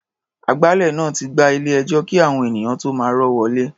Agbálẹ̀ náà ti gbá ilé-ẹjọ́ kí àwọn ènìyàn tó máa rọ́ wọlé.